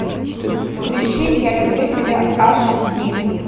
включи я люблю тебя ашди